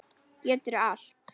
Geturðu allt?